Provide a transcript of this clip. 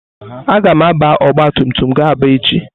Agam àbá ọgbatumtum ga Aba echi.